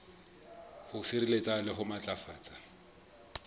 ho sireletsa le ho matlafatsa